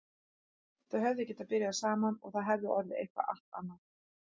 Þau hefðu getað byrjað saman og það hefði orðið eitthvað allt annað.